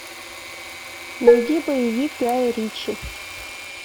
найди боевик гая ричи